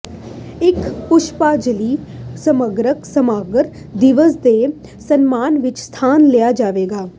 ਇੱਕ ਪੁਸ਼ਪਾਜਲੀ ਸਮਾਗਮ ਸਮਾਰਕ ਦਿਵਸ ਦੇ ਸਨਮਾਨ ਵਿਚ ਸਥਾਨ ਲਿਆ ਜਾਵੇਗਾ